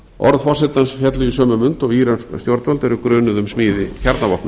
orð forsetans féllu í sömu mund og írönsk stjórnvöld eru grunuð um smíði kjarnavopna